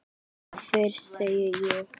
Þú fyrst, segi ég.